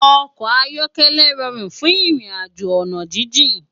Òkò áyòkèlè ròrún fún irinàjó òná jijin